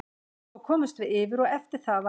Svo komumst við yfir og eftir það var þetta erfitt.